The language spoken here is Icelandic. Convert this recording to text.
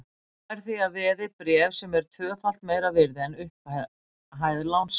Hann fær því að veði bréf sem eru tvöfalt meira virði en upphæð lánsins.